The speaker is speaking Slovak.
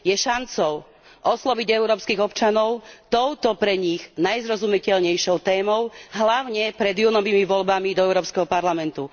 Je šancou osloviť európskych občanov touto pre nich najzrozumiteľnejšou témou, hlavne pred júnovými voľbami do Európskeho parlamentu.